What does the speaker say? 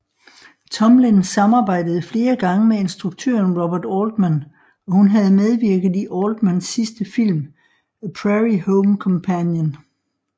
Tomlin samarbejdede flere gange med instruktøren Robert Altman og hun havde medvirket i Altmans sidste film A Prairie Home Companion